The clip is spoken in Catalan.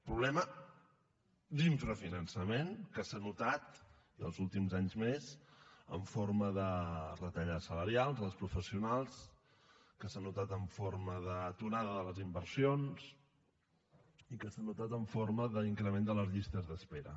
problema d’infrafinançament que s’ha notat i els últims anys més en forma de retallades salarials als professionals que s’ha notat en forma d’aturada de les inversions i que s’ha notat en forma d’increment de les llistes d’espera